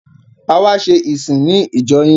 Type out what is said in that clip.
A wá ṣe ìsìn ní ìjọ yín.